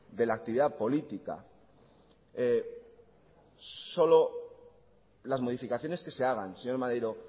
de la actividad política solo las modificaciones que se hagan señor maneiro